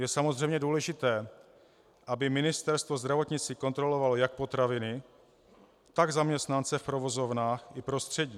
Je samozřejmě důležité, aby Ministerstvo zdravotnictví kontrolovalo jak potraviny, tak zaměstnance v provozovnách i prostředí.